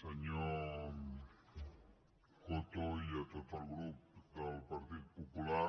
senyor coto i a tot el grup del partit popular